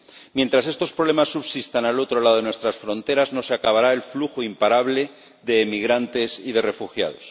Mientras estos problemas subsistan al otro lado de nuestras fronteras, no se acabará el flujo imparable de emigrantes y de refugiados.